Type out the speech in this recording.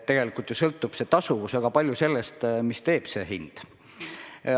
Tegelikult sõltub tasuvus väga palju sellest, mida teevad hinnad.